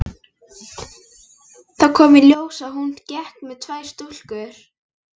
Þá kom í ljós að hún gekk með tvær stúlkur.